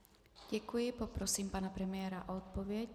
Děkuji, poprosím pana premiéra o odpověď.